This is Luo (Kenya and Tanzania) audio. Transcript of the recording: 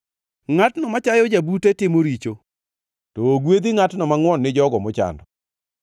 Ngʼatno machayo jabute timo richo, to ogwedhi ngʼatno mangʼwon gi jogo mochando.